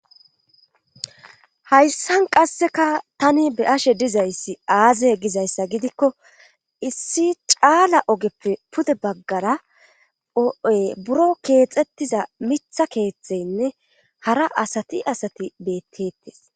hayssan qasseka tani be ashe dizayssi aaze gizayssa gidikko issi caala ogeppe pude baggara o7oy buro keexettiza mitha keeththeynne hara asati asati beettetes